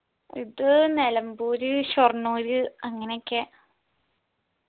ഇത് നെലംപൂര് ഷൊർണൂര് അങ്ങനെയൊക്കെ